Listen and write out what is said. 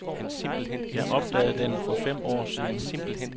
Jeg opdagede den for fem år siden.